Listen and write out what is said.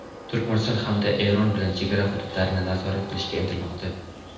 Turkmaniston hamda Eron bilan chegara hududlarini nazorat qilishga intilmoqda.